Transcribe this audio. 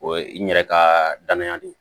O ye n yɛrɛ ka danaya de ye